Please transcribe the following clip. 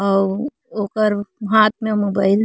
अउ ओकर हाथ में मोबाइल --